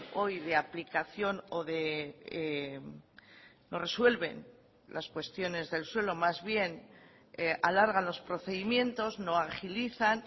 hoy de aplicación o no resuelven las cuestiones del suelo más bien alargan los procedimientos no agilizan